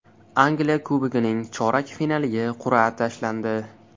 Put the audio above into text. Angliya Kubogining chorak finaliga qur’a tashlandi.